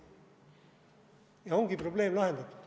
Ja ongi probleem lahendatud.